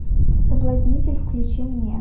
соблазнитель включи мне